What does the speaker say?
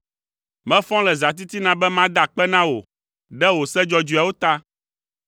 Mefɔ le zãtitina be mada akpe na wò ɖe wò se dzɔdzɔeawo ta.